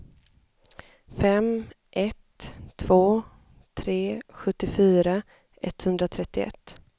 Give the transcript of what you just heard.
fem ett två tre sjuttiofyra etthundratrettioett